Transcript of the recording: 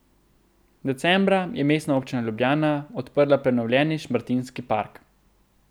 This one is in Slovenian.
Decembra je Mestna občina Ljubljana odprla prenovljeni Šmartinski park.